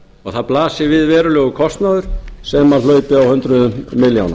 og það blasi við verulegur kostnaður sem hlaupi á hundruðum milljóna